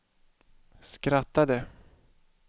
skrattade